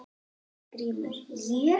GRÍMUR: Ég?